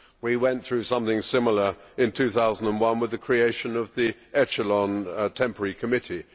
We went through something similar in 2001 with the creation of the Echelon Temporary Committee.